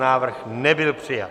Návrh nebyl přijat.